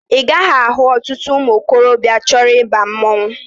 Ị gaghị ahụ ọtụtụ ụmụ okorobịa chọrọ ịba mmanwụ